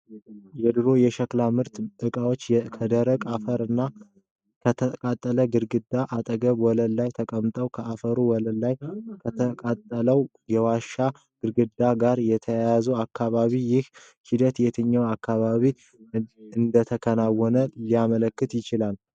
የድሮ የሸክላ ማምረቻ ዕቃዎች ከደረቅ አፈር እና ከተቃጠለ ግድግዳ አጠገብ ወለል ላይ ተቀምጠዋል። ከአፈሩ ወለል እና ከተቃጠለው የዋሻ/ግድግዳ ጋር የተያያዘው አካባቢ ይህ ሂደት የትኛው አካባቢ እንደተከናወነ ሊያመለክት ይችላል?